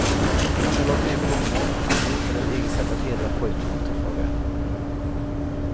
Många lade ner blommor, andra hittade ett eget sätt att hedra pojken och ta farväl.